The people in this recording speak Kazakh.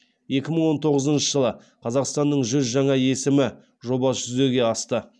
екі мың он тоғызыншы жылы қазақстанның жүз жаңа есімі жобасы жүзеге асты